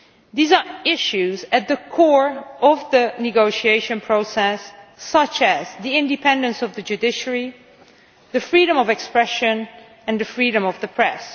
These are issues at the core of the negotiation process, such as the independence of the judiciary, freedom of expression and the freedom of the press.